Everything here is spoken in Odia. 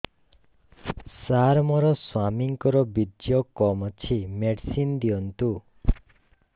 ସାର ମୋର ସ୍ୱାମୀଙ୍କର ବୀର୍ଯ୍ୟ କମ ଅଛି ମେଡିସିନ ଦିଅନ୍ତୁ